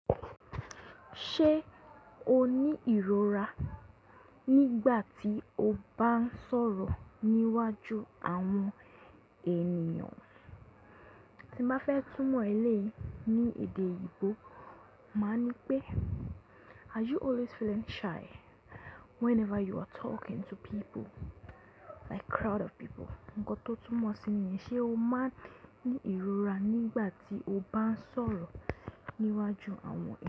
Ṣé o ní ìrora nígbà tí o bá ń sọ̀rọ̀ níwájú àwọn ènìyàn? Tí mo bá fẹ́ túmọ̀ ẹlẹ́yi ní èdè eyinbo, màá ní pé are you always feeling shy whenever you are talking to people like crowd of people? Ǹkan tó túmọ̀ sí ni Ṣé o máa ń ní ìrora nígbà tí o bá ń sọ̀rọ̀ níwájú àwọn è?